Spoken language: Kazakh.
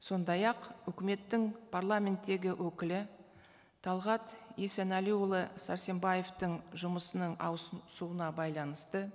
сондай ақ үкіметтің парламенттегі өкілі талғат есенәліұлы сәрсенбаевтың жұмысының байланысты